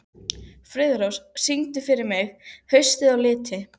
Friðrós, syngdu fyrir mig „Haustið á liti“.